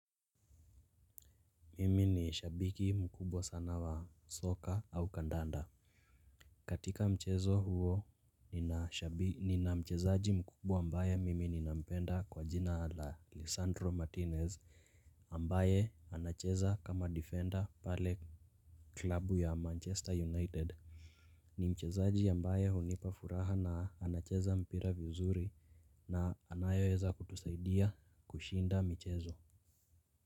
Mimi ni shabiki mkubwa sana wa soccer au kandanda. Katika mchezo huo nina mchezaji mkubwa ambaye mimi ninampenda kwa jina la Lissandro Martinez ambaye anacheza kama defender pale klabu ya Manchester United. Ni mchezaji ambaye hunipa furaha na anacheza mpira vizuri na anayeweza kutusaidia kushinda michezo.